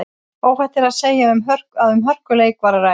Óhætt er að segja að um hörkuleik var um að ræða.